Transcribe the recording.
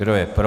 Kdo je pro?